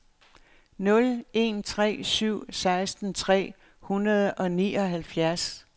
nul en tre syv seksten tre hundrede og nioghalvfjerds